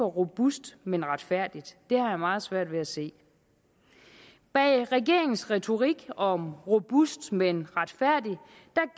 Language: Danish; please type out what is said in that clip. robust men retfærdigt det har jeg meget svært ved at se bag regeringens retorik om robust men retfærdigt